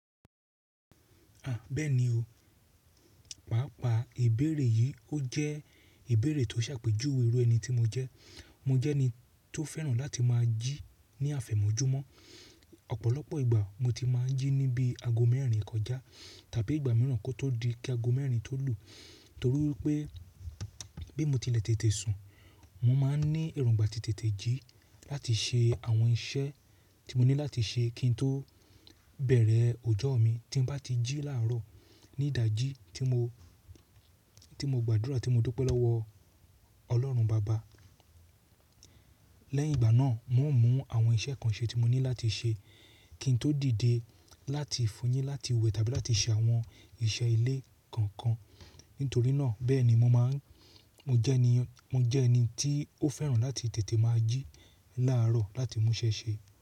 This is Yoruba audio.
À bẹẹni o, pàápàá ìbéèrè yìí ó jẹ́ ìbéèrè tó ṣàpèjúwe irú ẹni tí mo jẹ́. Mo jẹ́ ẹni tó fẹ́ràn láti máa jí ní àfẹ̀mọ́júmọ́. Ọ̀pọ̀lọpọ̀ ìgbà mo ti máa ń jí níbi ago mẹ́rin kọjá tàbí ìgbà mìíràn kí ó tó di kí ago mẹ́rin tó lù. Torí pé bí mo ti lẹ tètè sùn, mo máa ń ní èròngbà ti tètè jí láti ṣe àwọn iṣẹ́ tí mo ní láti ṣe kí n tó bẹ̀rẹ̀ ọjọ́ mi. Tí mo bá ti jí láàárọ̀ ní ìdají tí mo, tí mo gbàdúrà tí mo dúpẹ́ lọ́wọ́ Ọlọ́run Baba. Lẹ́yìn ìgbà náà, mo ń mú àwọn iṣẹ́ kan ṣe tí mo ní láti ṣe kí n tó dìde láti fún yin láti wẹ̀ tàbí láti ṣe àwọn iṣẹ́ ilé kankan. Nítorí náà, bẹ́ẹ̀ ni mo máa ń, mo jẹ́ ẹni, mo jẹ́ ẹni tí ó fẹ́ràn láti tètè máa jí láàárọ̀ láti mú iṣẹ́ ṣe.